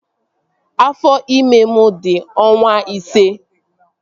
Afọ ime m di ọnwa ise